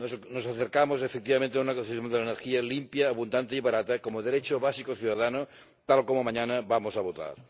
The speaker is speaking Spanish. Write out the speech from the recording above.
Nos acercamos, efectivamente, a una concepción de la energía limpia, abundante y barata como derecho básico ciudadano, tal como mañana vamos a votar.